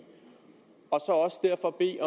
i